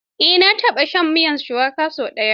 Eh, na taɓa shan miyar shuwaka sau ɗaya.